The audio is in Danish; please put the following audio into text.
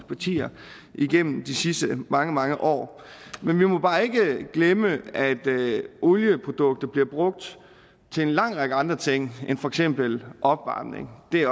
partier igennem de sidste mange mange år men vi må bare ikke glemme at olieprodukter bliver brugt til en lang række andre ting end for eksempel opvarmning det